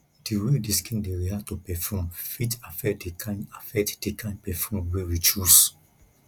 di wey di skin dey react to perfume fit affect di kind affect di kind perfume wey we choose